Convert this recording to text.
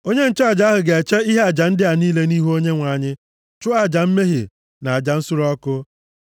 “ ‘Onye nchụaja ahụ ga-eche ihe aja ndị a niile nʼihu Onyenwe anyị, chụọ aja mmehie na aja nsure ọkụ.